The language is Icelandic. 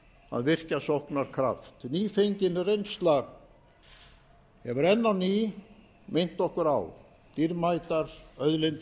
að virkja sóknarkraft nýfengin reynsla hefur enn á ný minnt okkur á dýrmætar auðlindir